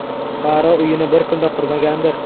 Fuqaro uyini bir kunda qurmagandir?